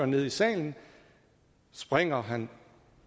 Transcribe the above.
nede i salen springer han